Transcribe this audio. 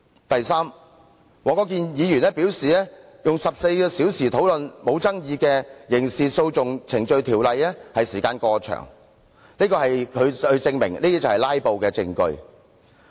第三，黃國健議員表示花14小時討論不具爭議的根據《刑事訴訟程序條例》動議的擬議決議案，時間過長，他說這就是"拉布"的證據。